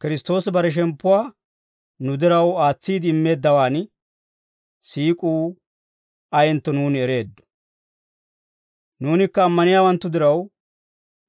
Kiristtoosi bare shemppuwaa nu diraw aatsiide immeeddawaan siik'uu ayentto nuuni ereeddo; nuunikka ammaniyaawanttu diraw,